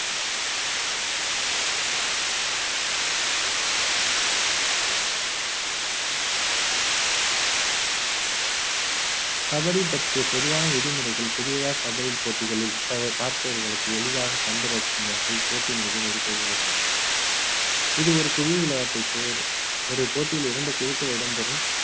கபடி பற்றிய பொதுவான விதிமுறைகள் புதிதாக கபடி போட்டிகளில் பார்ப்பவர்களுக்கு எளிதாக கண்டு ரசிக்கும் வகையில் போட்டியின் விதி முறைகள் கொடுக்கப்பட்டுள்ளன இது ஒரு புது விளையாட்டு இப்போது ஒரு போட்டியில் இரண்டு குழுக்கள் இடம்பெறும்